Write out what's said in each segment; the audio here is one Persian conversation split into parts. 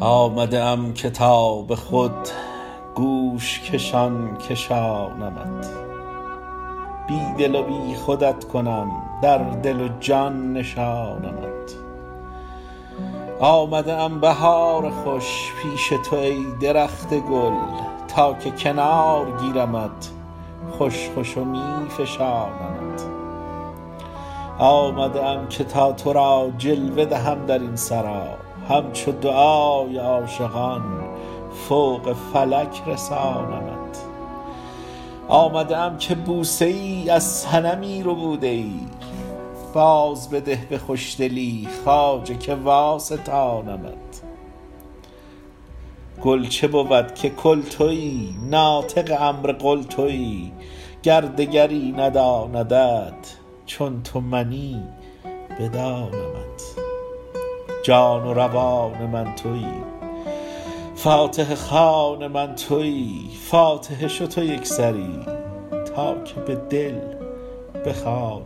آمده ام که تا به خود گوش کشان کشانمت بی دل و بی خودت کنم در دل و جان نشانمت آمده ام بهار خوش پیش تو ای درخت گل تا که کنار گیرمت خوش خوش و می فشانمت آمده ام که تا تو را جلوه دهم در این سرا همچو دعای عاشقان فوق فلک رسانمت آمده ام که بوسه ای از صنمی ربوده ای بازبده به خوشدلی خواجه که واستانمت گل چه بود که کل تویی ناطق امر قل تویی گر دگری نداندت چون تو منی بدانمت جان و روان من تویی فاتحه خوان من تویی فاتحه شو تو یک سری تا که به دل بخوانمت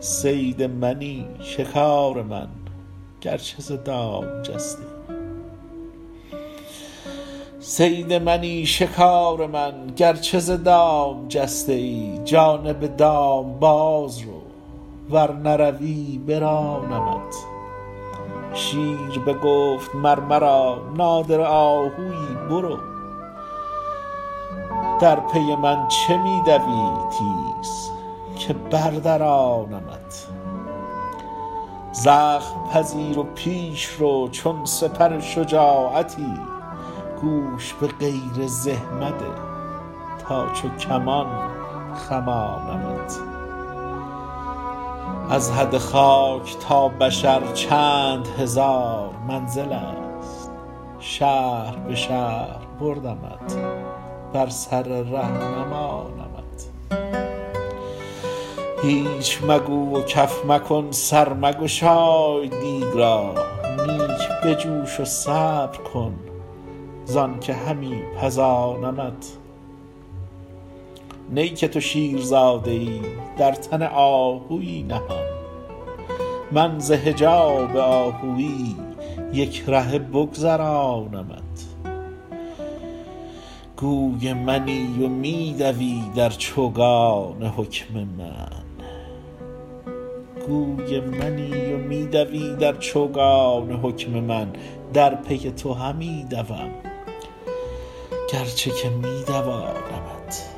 صید منی شکار من گرچه ز دام جسته ای جانب دام باز رو ور نروی برانمت شیر بگفت مر مرا نادره آهوی برو در پی من چه می دوی تیز که بردرانمت زخم پذیر و پیش رو چون سپر شجاعتی گوش به غیر زه مده تا چو کمان خمانمت از حد خاک تا بشر چند هزار منزلست شهر به شهر بردمت بر سر ره نمانمت هیچ مگو و کف مکن سر مگشای دیگ را نیک بجوش و صبر کن زانک همی پزانمت نی که تو شیرزاده ای در تن آهوی نهان من ز حجاب آهوی یک رهه بگذرانمت گوی منی و می دوی در چوگان حکم من در پی تو همی دوم گرچه که می دوانمت